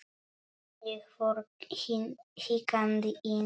Ég fór hikandi inn.